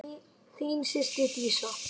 Þín systir Dísa.